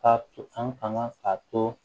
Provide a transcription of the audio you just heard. Ka to an kan k'a to